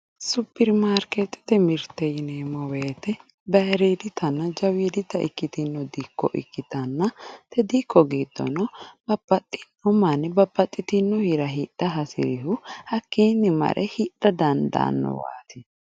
Superimarkeettete mirte yineemmo woyiite bayeeridiitanna jawiidita itkkiino dikko ikkitanna te dikko giddo babbaxxitino mirte hidha hasirihu hakkiinni mare hidha dadaannowaati